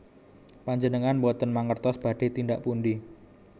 Panjenengan boten mangertos badhé tindak pundi